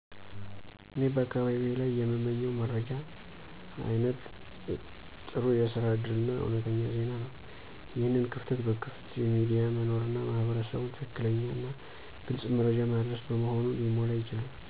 እኔ በአካባቢዬ ላይ የምመኝው መረጃ አይነት ጥሩ የስራ እድል እና እውነተኛ ዜና ነው። ይህን ክፍተት በክፍት ሚዲያ መኖርና ማህበረሰቡን ትክክለኛና ግልጽ መረጃ ማድረስ በመሆኑ ሊሞላ ይችላል።